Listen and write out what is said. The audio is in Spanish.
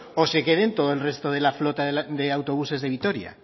o se queden todo el resto de la flota de autobuses de vitoria